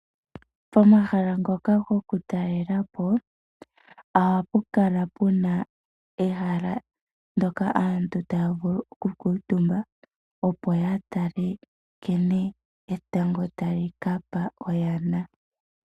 Pomahala ngoka goku talelapo, ohapu kala puna ehala ndyoka aantu taya vulu oku kuutumba, opo ya tale nkene etango tali kapa oyana.